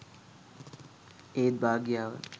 ඒත් භාග්‍යාව